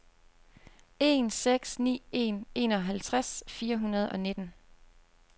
en seks ni en enoghalvtreds fire hundrede og nitten